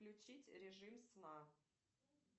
включить режим сна